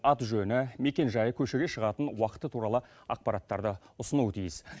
аты жөні мекенжайы көшеге шығатын уақыты туралы ақпараттарды ұсынуы тиіс